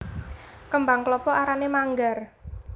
Kembang klapa arané manggar